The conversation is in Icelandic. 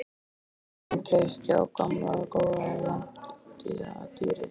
Sál mín treystir á gamla góða lamadýrið.